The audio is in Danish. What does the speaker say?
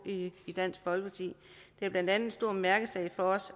i dansk folkeparti det er blandt andet en stor mærkesag for os